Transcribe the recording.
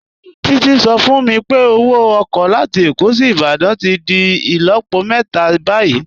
Títí sọ fún mí pé ọwọ oko latí Ékó sí Ìbàdàn tí dì ilọ̀pọ̀ mẹta bayí.i